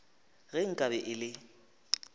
ge nka be e le